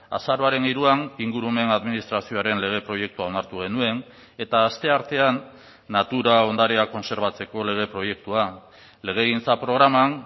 azaroaren hiruan ingurumen administrazioaren lege proiektua onartu genuen eta asteartean natura ondarea kontserbatzeko lege proiektua legegintza programan